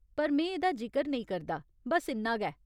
पर में एह्दा जिकर नेईं करदा, बस्स इन्ना गै।